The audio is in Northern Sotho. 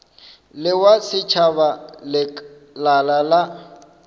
le wa setšhaba lekala la